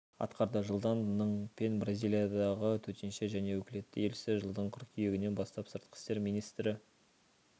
атқарды жылдан ның пен бразилиядағы төтенше және өкілетті елшісі жылдың қыркүйегінен бастап сыртқы істер министрі